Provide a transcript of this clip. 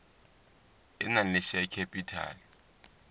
e nang le share capital